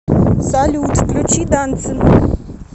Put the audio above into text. салют включи дансин